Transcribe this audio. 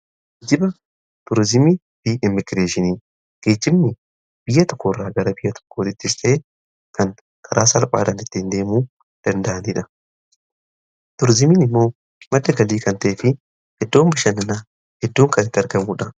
Geejjiba tuurizimii fi immigireeshinii, geejjibni biyya tokkoo irraa gara biyya tokkoottis ta'ee kan karaa salphaadan itti hin deemuu danda'aniidha. Turizimiin immoo madda galii kan ta'ee fi eddoon bishannanaa eddoo kanaa kan argamuudha.